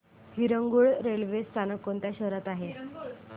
Harangul railway स्थानक कोणत्या शहरात आहे